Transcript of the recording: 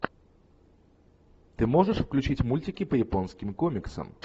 ты можешь включить мультики по японским комиксам